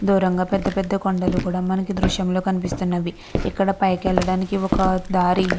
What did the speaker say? దూరంగా మనకి పెద్ద పెద్ద కొండలు కూడా కనిపిస్తున్నవి అకడ పైకి వెళ్ళడానికి దారి --